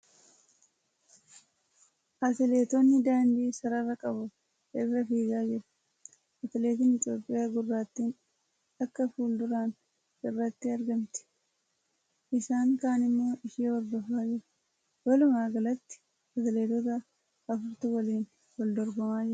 Atileetonni daandii sarara qabu irra fiigaa jiru . Atileetiin Itiyoophiyaa gurraattiin takka fuilduran irratti argamti . Isaan kaan immoo ishee hordofaa jiru . Walumaagalatti atileetota afurtu waliin wal dorgomaa jira.